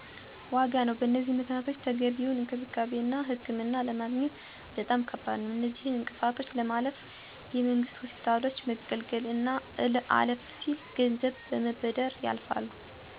ዋጋ ነው። በዚህም ምክንያት ተገቢውን እንክብካቤና ህክምና ለማግኘት በጣም ከባድ ነዉ። አነዚህን እንቅፋቶች ለማለፍ የመንግስት ሆስፒታሎች መገልገል አና አለፍ ሲል ገንዘብ በመበደር ያልፋሉ።